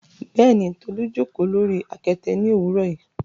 Bẹẹni, Tolu jókò lori akete ni owurọ yi